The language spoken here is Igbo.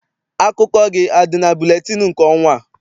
Akụkọ gị adị na buletịịnụ nke ọnwa a?